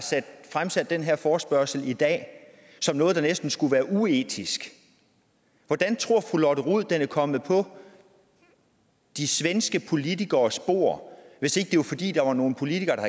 fremsat den her forespørgsel i dag som noget der næsten skulle være uetisk hvordan tror fru lotte rod den var kommet på de svenske politikeres bord hvis ikke det var fordi der var nogle politikere der